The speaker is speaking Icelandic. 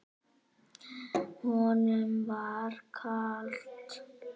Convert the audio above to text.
Honum var kalt.